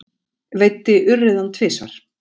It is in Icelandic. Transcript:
Veiddi urriðann tvisvar